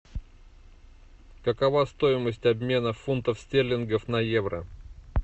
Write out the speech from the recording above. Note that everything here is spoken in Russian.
какова стоимость обмена фунтов стерлингов на евро